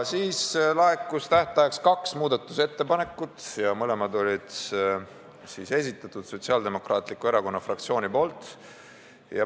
Siis laekus tähtajaks kaks muudatusettepanekut, mõlemad olid Sotsiaaldemokraatliku Erakonna fraktsiooni esitatud.